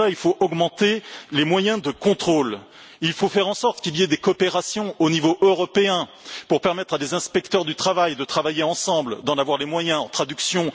Pour cela, il faut augmenter les moyens de contrôle, il faut faire en sorte qu'il y ait des coopérations au niveau européen pour permettre à des inspecteurs du travail de travailler ensemble, d'en avoir les moyens en matière de traduction.